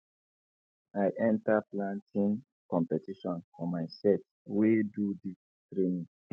i enter planting competition for my set wey do dis training